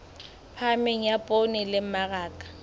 phahameng ya poone le mmaraka